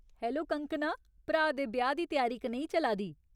Hello Kangkana ! भ्राऽ दे ब्याह् दी त्यारी कनेही चला दी ?